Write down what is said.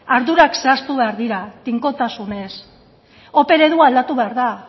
ardurak zehaztu behar dira tinkotasunez ope eredua aldatu behar da